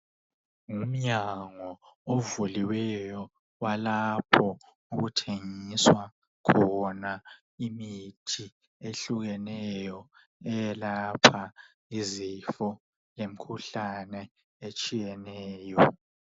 Ngumnyango ovuliweyo walapho okuthengiswa khona imithi ehlukeneyo eyelapha izifo lemkhuhlane etshiyeneyo.